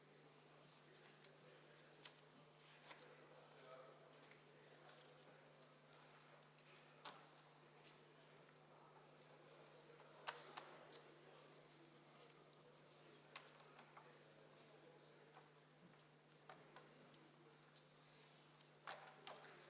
Ja siis palun valimiskomisjoni liikmetel asuda hääli lugema.